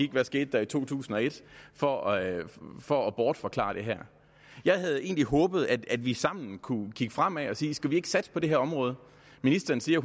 der skete i to tusind og et for at for at bortforklare det her jeg havde egentlig håbet at vi sammen kunne kigge fremad og sige skal vi ikke satse på det her område ministeren siger